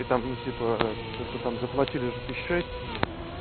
и там ну типа что-то там заплатили уже тысяч шесть